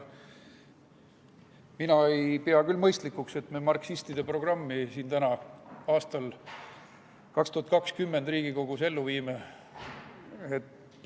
Mina ei pea küll mõistlikuks, et me marksistide programmi siin täna, aastal 2020, Riigikogus ellu viime.